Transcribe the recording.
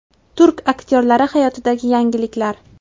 Turk aktyorlari hayotidagi yangiliklar.